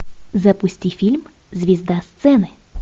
запусти фильм звезда сцены